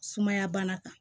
Sumaya bana kan